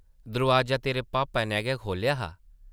दरोआजा तेरे पापा नै गै खोह्लेआ हा ।